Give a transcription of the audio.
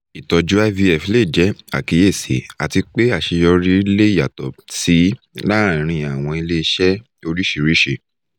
itọju ivf le jẹ akiyesi ati pe aṣeyọri le yatọ si laarin awọn ile-iṣẹ oriṣiriṣi